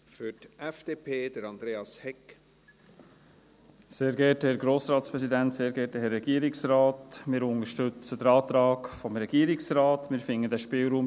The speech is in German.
Wir unterstützen den Antrag des Regierungsrates, wir finden den Spielraum